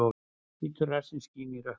Hvítur rassinn skín í rökkrinu.